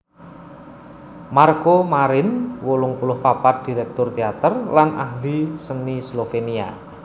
Marko Marin wolung puluh papat dirèktur téater lan ahli seni Slovénia